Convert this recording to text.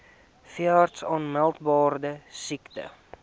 veeartse aanmeldbare siektes